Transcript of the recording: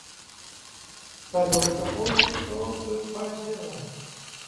салют о боже что бы поделать